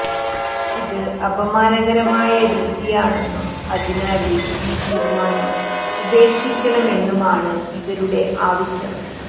ഇത് അപമാനകരമായ രീതിയാണെന്നും അതിനാല് ഈ തീരുമാനം ഉപേക്ഷിക്കണമെന്നുമാണ് ഇവരുടെ ആവശ്യം